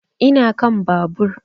Ina kan babur